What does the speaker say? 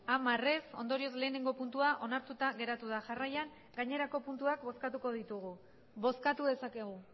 hamar ez ondorioz lehenengo puntua onartuta geratu da jarraian gainerako puntuak bozkatuko ditugu bozkatu dezakegu